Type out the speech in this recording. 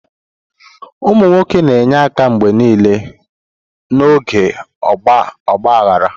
Ụmụ nwoke na-enye aka mgbe niile n'oge ọgba aghara.